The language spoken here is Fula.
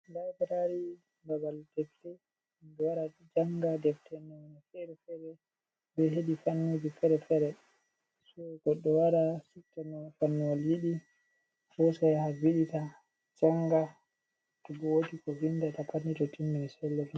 Laibrari babal defte himɓe wara janga defte nawono fere fere be hedi fannijie fere-fere. So, goɗɗo wara subta fannuwol yiɗi hosa yaha vinda, janga, to bo wodi ko vinda ta pat ni to timmini sai lorna.